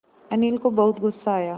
अनिल को बहुत गु़स्सा आया